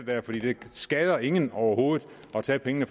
skader ingen overhovedet at tage pengene